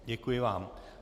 Děkuji vám.